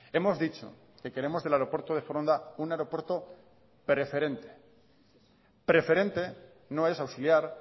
hemos dicho que queremos del aeropuerto de foronda un aeropuerto preferente preferente no es auxiliar